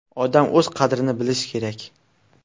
Odam o‘z qadrini bilishi kerak.